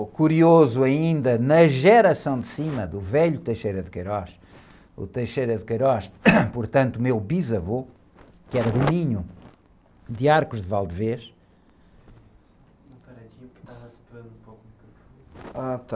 O curioso ainda, na geração de cima do velho, o, portanto, meu bisavô, que era de... Ah, está...